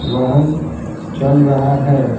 वाहन चल रहा है।